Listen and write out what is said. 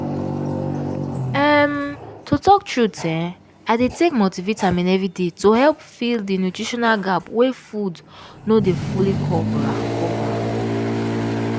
um to talk truth[um]i dey take multivitamin every day to help fill the nutritional gap wey food no dey fully cover cover